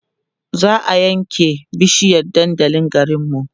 za'a ƴan ke bishiyar dandalin garinmu